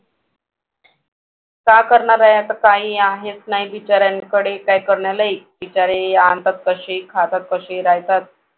काय करणार आहे आता काही आहेच नाही बिचाऱ्यांकडे काही करण्यालायक बिचारे आणतात तसे खातात तसे राहतात.